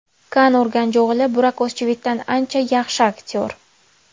Kann Urganjio‘g‘li Burak O‘zchivitdan ancha yaxshi aktyor.